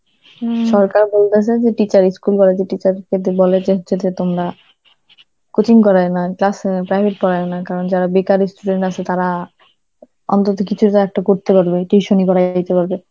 সরকার বলেছে যে teacher ই~ school college এর teacher যদি বলে যে তোমরা coaching করায় ও না, class এ private পড়ায়না, কারণ যারা বেকার ই student আছে তারা অন্তত কিছু যে একটা করতে পারবে, tuition ই করাইতে পারবে.